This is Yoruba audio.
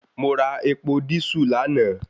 Mo ra epo dísù lánàá